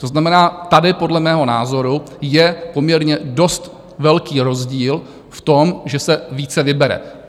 To znamená, tady podle mého názoru je poměrně dost velký rozdíl v tom, že se více vybere.